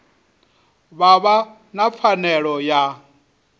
vha vha na pfanelo ya